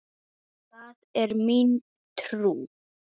Það er mín trú.